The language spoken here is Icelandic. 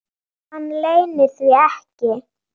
Hann leynir því ekki.